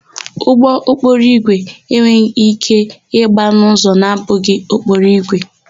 Ụgbọokporoígwè enweghị íké ịgba n'ụzọ na-abụghị okporoigwe.